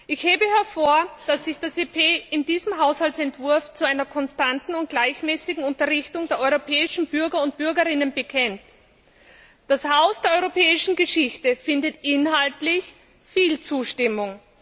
Ich hebe hervor, dass sich das EP in diesem Haushaltsentwurf zu einer konstanten und gleichmäßigen Unterrichtung der europäischen Bürgerinnen und Bürger bekennt. Das Haus der Europäischen Geschichte findet inhaltlich viel Zustimmung.